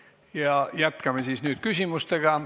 Ja jätkame nüüd küsimustega.